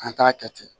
An t'a kɛ ten